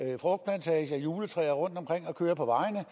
i juletræer rundtomkring og kører på vejene